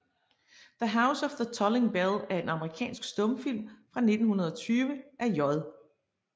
The House of the Tolling Bell er en amerikansk stumfilm fra 1920 af J